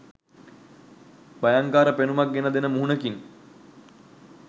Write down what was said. භයංකාර පෙනුමක් ගෙන දෙන මුහුණකිනි.